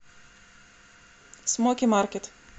смоки маркет